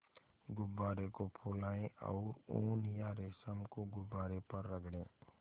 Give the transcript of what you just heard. गुब्बारे को फुलाएँ और ऊन या रेशम को गुब्बारे पर रगड़ें